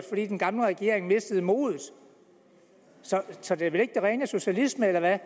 fordi den gamle regering mistede modet så det er vel ikke den rene socialisme eller hvad